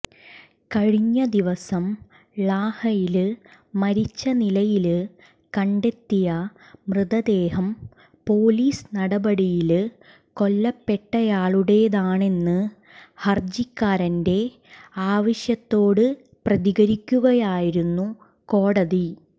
കഴിഞ്ഞ ദിവസം ളാഹയില് മരിച്ച നിലയില് കണ്ടെത്തിയ മൃതദേഹം പൊലീസ് നടപടിയില് കൊല്ലപ്പെട്ടയാളുടേതാണെന്ന് ഹര്ജിക്കാരന്റെ ആവശ്യത്തോട് പ്രതികരിക്കുകയായിരുന്നു കോടതി